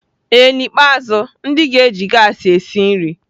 Ee n'ikpeazụ, ndị ga-eji gaasị esi nri.